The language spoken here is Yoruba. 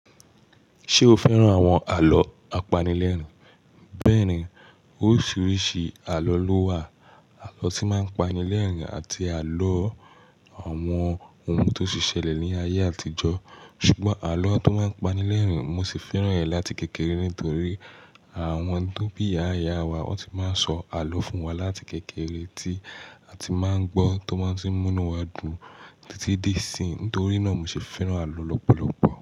Ṣé o fẹ́ràn àwọn àlọ́ apanilẹ́rìn? Bẹ́ẹ̀ni, oríṣiríṣi àlọ́ ló wà. Àlọ́ tí máa ń pani lẹ́rìn àti àlọ́ àwọn ohun tó ti ṣẹlẹ̀ ní ayé àtijọ́. Ṣùgbọ́n àlọ́ tó máa ń pani lẹ́rìn, mo sì fẹ́ràn rẹ̀ láti kékeré nítorí àwọn tó bí ìyá ìyá wa ó ti máa ń sọ àlọ́ fún wa láti kékeré tí a ti máa ń gbọ́ tó máa ti ń mú inú wa dùn títí dé ìsín. Nítorí náà mo sì fẹ́ràn àlọ́ lọ́pọ̀lọpọ̀.